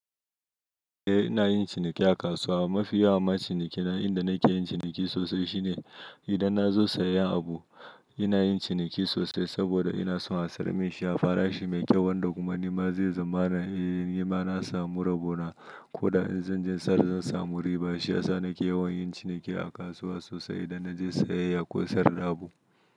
Eh ina yin ciniki a kasuwa. Mafi yawan ma ciniki nan inda nake yin ciniki sosai shine idan na zo sayan abu ina yin ciniki sosai saboda ina son a sarmin shi, a fara shi mai kyau wanda kuma nima zai zamana nima na samu rabo na. Ko da in zan je in sall zan samu riba dashi shiyasa nake yawan yin ciniki a kasuwa sosai idan na je sayayya ko sayar da abu.